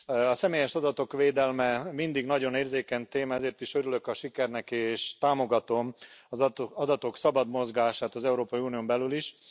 A személyes adatok védelme mindig nagyon érzékeny téma, ezért is örülök a sikernek, és támogatom az adatok szabad mozgását az Európai Unión belül is.